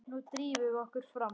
Nú drífum við okkur fram!